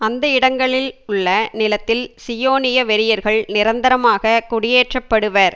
அந்த இடங்களில் உள்ள நிலத்தில் சியோனிய வெறியர்கள் நிரந்தரமாக குடியேற்றப்படுவர்